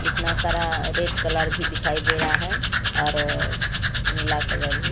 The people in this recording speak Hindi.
कितना सारा रेड कलर भी दिखाई दे रहा है और नीला कलर भी।